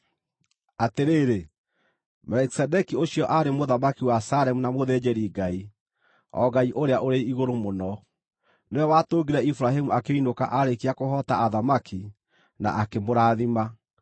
Atĩrĩrĩ, Melikisedeki ũcio aarĩ mũthamaki wa Salemu na mũthĩnjĩri-Ngai, o Ngai-Ũrĩa-ũrĩ-Igũrũ-Mũno. Nĩwe watũngire Iburahĩmu akĩinũka aarĩkia kũhoota athamaki, na akĩmũrathima,